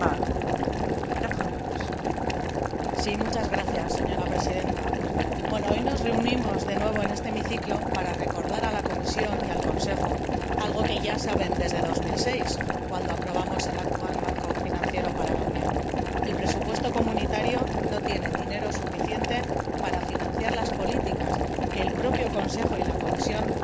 Señora Presidenta, hoy nos reunimos de nuevo en este hemiciclo para recordar a la Comisión y al Consejo algo que ya saben desde 2006, cuando aprobamos el actual Marco financiero para la Unión el presupuesto comunitario no tiene dinero suficiente para financiar las políticas que el propio Consejo y la Comisión han decidido y que también, efectivamente, hemos